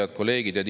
Head kolleegid!